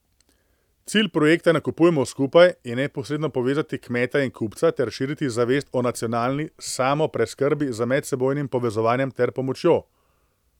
Cilj projekta Nakupujmo skupaj je neposredno povezati kmeta in kupca ter širiti zavest o nacionalni samopreskrbi z medsebojnim povezovanjem ter pomočjo.